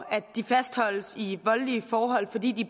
fastholdes i voldelige forhold fordi de